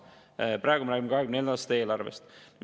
Praegu me räägime 2024. aasta eelarvest.